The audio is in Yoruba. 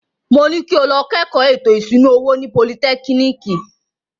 Mo ní kí o lọ kẹ́kọ̀ọ́ ètò ìṣúná owó ní politẹ́kínìkì.